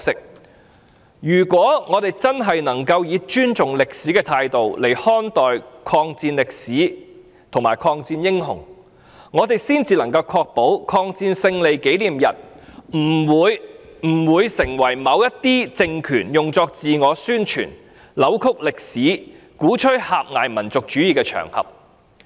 我們如果真的能夠以尊重歷史的態度來看待抗戰歷史和抗戰英雄，才能確保抗日戰爭勝利紀念日不會成為某些政權用作自我宣傳、扭曲歷史、鼓吹狹隘民族主義的場合。